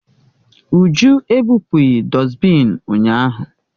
Uju ebụpụghị dọsbịn ụnyahụ